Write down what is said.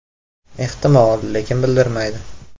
Ehtimol, lekin bildirmaydi.